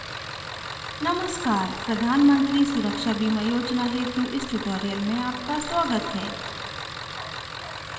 नमस्कार प्रधान मंत्री सुरक्षा बीमा योजना हेतु इस स्पोकन ट्यूटोरियल में आपका स्वागत है